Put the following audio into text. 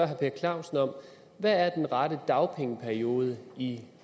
herre per clausen hvad er den rette dagpengeperiode i